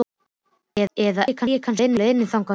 Eða er ég kannski á leiðinni þangað núna?